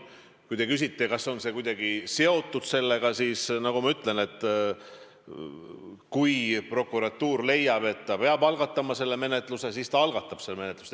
Kui te küsite, kas see on kuidagi sellega seotud, siis, nagu ma ütlesin, kui prokuratuur leiab, et ta peab algatama sellekohase menetluse, siis ta algatab selle menetluse.